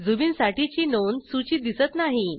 झुबिन साठीची नोंद सूचीत दिसत नाही